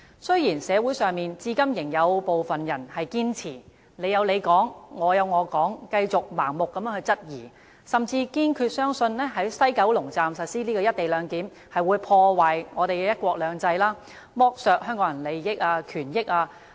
雖然社會上至今仍有部分人堅持"你有你講，我有我講"，繼續盲目質疑，甚至堅信在西九龍站實施"一地兩檢"便會破壞香港的"一國兩制"，剝奪香港人的利益和權益。